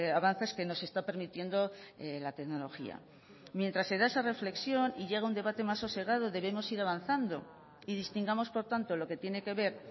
avances que nos está permitiendo la tecnología mientras se da esa reflexión y llega un debate más sosegado debemos ir avanzando y distingamos por tanto lo que tiene que ver